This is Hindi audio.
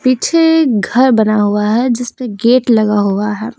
पीछे घर बना हुआ है जिसमें गेट लगा हुआ है।